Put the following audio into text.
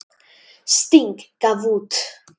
Sting gaf út.